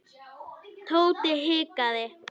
Tóti hikaði.